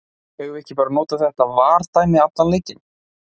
Eigum við ekki bara að nota þetta VAR dæmi allan leikinn?